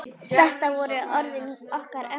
Þetta voru orðin okkar ömmu.